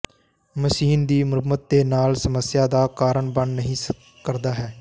machine ਦੀ ਮੁਰੰਮਤ ਦੇ ਨਾਲ ਸਮੱਸਿਆ ਦਾ ਕਾਰਨ ਬਣ ਨਹੀ ਕਰਦਾ ਹੈ